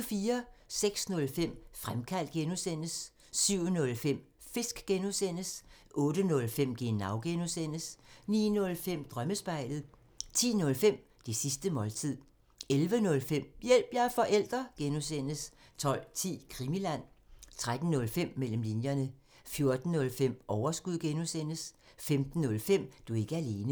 06:05: Fremkaldt (G) 07:05: Fisk (G) 08:05: Genau (G) 09:05: Drømmespejlet 10:05: Det sidste måltid 11:05: Hjælp – jeg er forælder! (G) 12:10: Krimiland 13:05: Mellem linjerne 14:05: Overskud (G) 15:05: Du er ikke alene